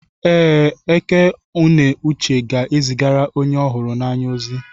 Ee, Eké-ùnè uche ga-ezigara onye hụrụ ya n'anya ozi.